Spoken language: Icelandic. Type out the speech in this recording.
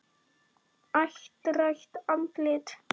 Áttrætt andlit.